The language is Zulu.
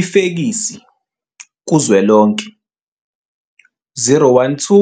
Ifekisi, kuzwelonke - 012